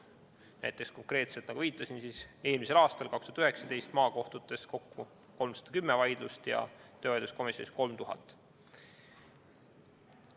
Näiteks lahendati konkreetselt, nagu viitasin, eelmisel aastal, 2019. aastal maakohtutes kokku 310 vaidlust ja töövaidluskomisjonis 3000.